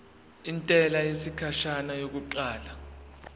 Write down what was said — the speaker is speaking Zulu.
intela yesikhashana yokuqala